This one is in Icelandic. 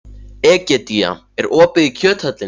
Egedía, er opið í Kjöthöllinni?